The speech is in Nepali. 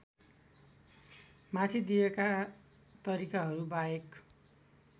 माथि दिइएका तरिकाहरूबाहेक